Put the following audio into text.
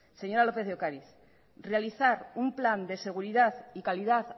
señora lópez de ocariz realizar un plan de seguridad y calidad